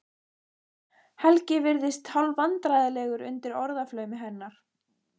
Helgi virðist hálfvandræðalegur undir orðaflaumi hennar.